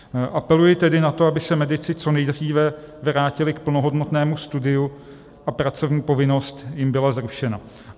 Apeluji tedy na to, aby se medici co nejdříve vrátili k plnohodnotnému studiu a pracovní povinnost jim byla zrušena.